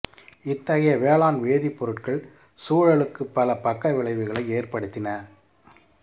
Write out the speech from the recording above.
இத்தகைய வேளாண் வேதிப்பொருட்கள் சூழலுக்கு பல பக்க விளைவுகளை ஏற்படுத்தின